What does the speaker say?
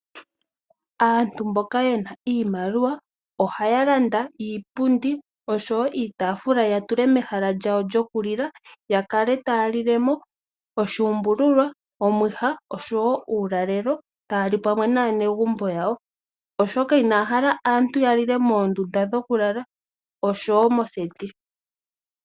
Aantu mboka ye na iimaliwa ohaya landa iipundi oshowo iitafula ya tule mehala lyawo lyokulila ya kale taya lilemo oshuumbululwa, omwiha oshowo uulalelo taya li pamwe naanegumbo yawo oshoka inaya hala aantu ya lile moondunda dhokulala oshowo moseti.